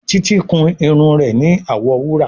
Títí kún Irun rẹ ní awọ wúrà.